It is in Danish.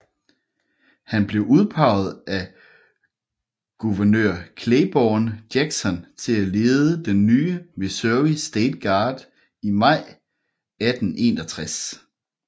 Han blev udpeget af guvernør Claiborne Jackson til at lede den nye Missouri State Guard i maj 1861